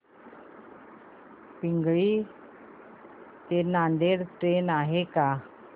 पिंगळी ते नांदेड ट्रेन आहे का